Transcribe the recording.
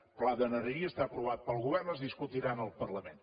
el pla d’energia està aprovat pel govern es discutirà en el parlament